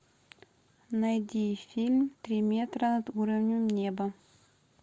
найди фильм три метра над уровнем неба